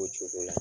O cogo la